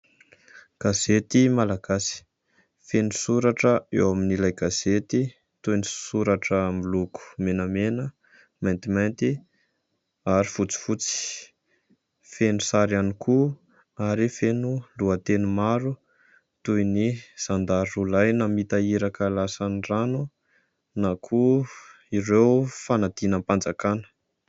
Gazety Malagasy, feno soratra eo amin'ilay gazety toy ny soratra miloko menamena, maintimanty ary fotsifotsy. Feno sary ihany koa ary feno lohateny maro toy ny zandary roa lahy namita iraka lasan'ny rano na koa ireo fanadinam-panjakana.